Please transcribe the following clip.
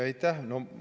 Aitäh!